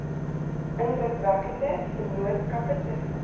indrukwekkende vennootskappe tussen